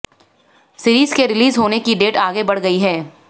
series के release होने की डेट आगे बढ़ गई है